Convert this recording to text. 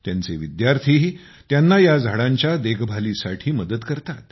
त्यांचे विद्यार्थीही त्यांना या झाडांच्या देखभालीसाठी मदत करतात